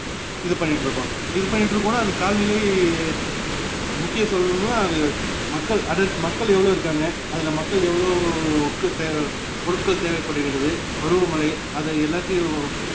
இது பண்ணிட்டுருக்கோம் இதுபண்ணிட்டுருக்கோன்னா அந்த காலநிலை இ~ முக்கியத்துவம்னா மக்கள் அடர்~ மக்கள் எவ்ளோ இருக்காங்க அதுலே மக்கள் எவ்ளோக்கு தேவ~ பொருட்கள் தேவைப்படுகிறது பருவமழை அதுல எல்லாத்தையும்